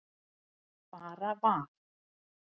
Bara var.